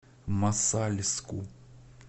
мосальску